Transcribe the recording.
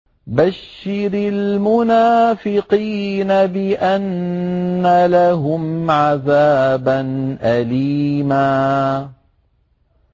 بَشِّرِ الْمُنَافِقِينَ بِأَنَّ لَهُمْ عَذَابًا أَلِيمًا